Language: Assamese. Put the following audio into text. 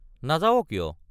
নাযাৱ কিয়?